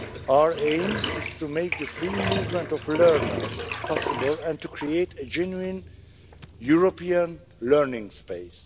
Our aim is to make the free movement of learners possible and to create a genuine European learning space.